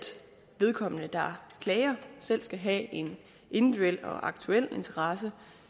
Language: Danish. den der klager selv skal have en individuel og aktuel interesse